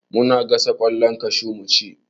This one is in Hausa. Muna gasa ƙwallon kashu mu ci